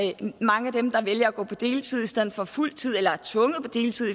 mange af dem der vælger at gå på deltid i stedet for fuldtid eller som er tvunget på deltid